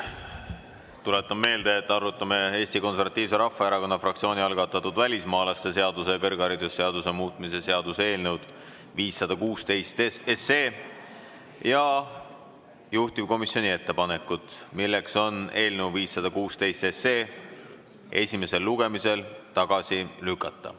Tuletan meelde, et me arutame Eesti Konservatiivse Rahvaerakonna fraktsiooni algatatud välismaalaste seaduse ja kõrgharidusseaduse muutmise seaduse eelnõu 516 ja juhtivkomisjoni ettepanekut eelnõu 516 esimesel lugemisel tagasi lükata.